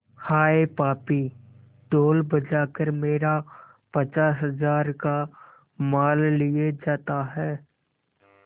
हाय पापी ढोल बजा कर मेरा पचास हजार का माल लिए जाता है